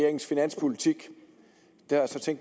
der er fattig